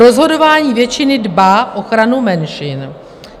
Rozhodování většiny dbá o ochranu menšin.